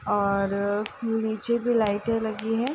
और नीचे भी लाइटें लगी हैं।